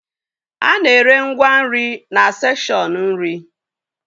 A na-ere ngwa nri na sekshọn nri